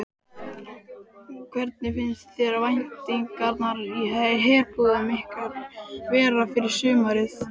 Hvernig finnst þér væntingarnar í herbúðum ykkar vera fyrir sumarið?